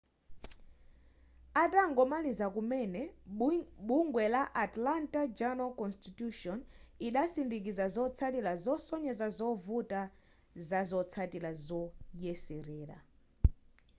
atangomaliza kumene bungwe la atlanta journal-constitution idasindikiza zotsatira zosonyeza zovuta zazotsatira zoyeserera